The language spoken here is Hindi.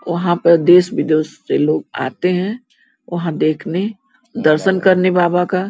वहाँ पे देश-विदेश से लोग आते हैं वहाँ देखने दरसन करने बाबा का --